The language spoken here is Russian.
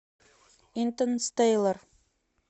интерстеллар